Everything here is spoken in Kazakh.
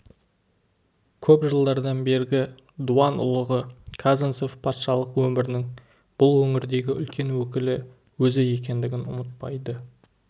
көп жылдардан бергі дуан ұлығы казанцев патшалық өмірінің бұл өңірдегі үлкен өкілі өзі екендігін ұмытпайды